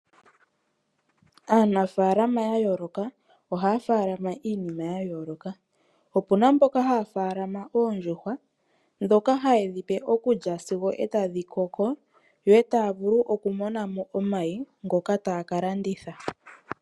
Aanafaalama yayooloka ohaya faalama iinima yayooloka. Opuna mboka haya faalama oondjuhwa dhoka hayedhipe okulya sigo etadhikoko, yo taya vulu okumonamo omayi ngoka taya ka landitha.